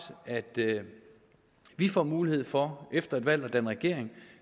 vi får mulighed for efter et valg at danne regering